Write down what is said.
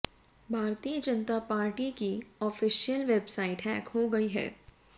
भारतीय जनता पार्टी की official website hack हो गई है